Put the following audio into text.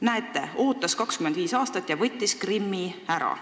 Näete, ootas 25 aastat ja võttis Krimmi ära.